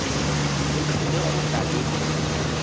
o tlile go tla le